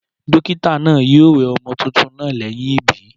Dókítà naa yio we ọmọ tuntun naa léyìn ìbí